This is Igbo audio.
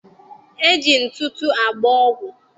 E ji ntụtụ agba ọgwụ.